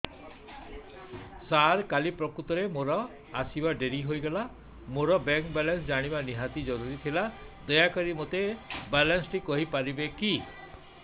ସାର କାଲି ପ୍ରକୃତରେ ମୋର ଆସିବା ଡେରି ହେଇଗଲା ମୋର ବ୍ୟାଙ୍କ ବାଲାନ୍ସ ଜାଣିବା ନିହାତି ଜରୁରୀ ଥିଲା ଦୟାକରି ମୋତେ ମୋର ବାଲାନ୍ସ ଟି କହିପାରିବେକି